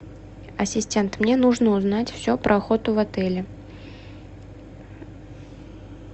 ассистент мне нужно узнать все про охоту в отеле